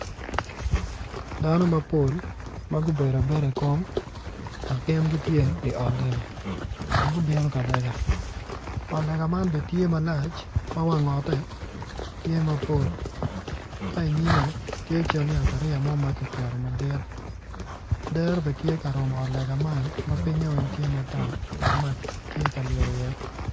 Dano mapol ma gubedo abeda i kom dok gin gitye i ot lega dok gubino ka lega ot lega man bene tye malac ma wang otte ka inymme tye cal yatariya mo ma kiketo madit dero bene tye ka ryeny i ot lega man pinynye weng tye matar dok mac tye ka lyel iye.